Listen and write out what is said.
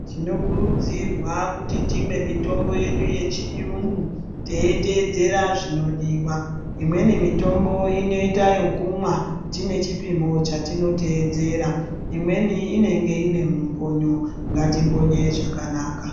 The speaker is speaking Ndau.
Tinokurudzirwa kuti timwe mitombo yedu yechiyungu teitedzera zvinodiwa . Imweni mitombo inoita yekumwa tine chipimo chatinoteedzera imweni inenge iine mumbonyo ngatimbonye zvakanaka .